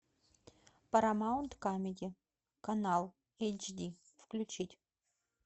парамаунт камеди канал эйч ди включить